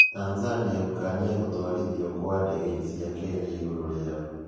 Tanzania gũkania gũtwarithio kwa ndege cia Kenya igũrũ rĩao.